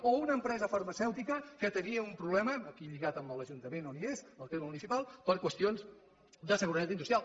o una empresa farmacèutica que tenia un problema aquí lligat a l’ajuntament on és al terme municipal per qüestions de seguretat industrial